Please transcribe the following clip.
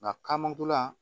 Nka kamankunna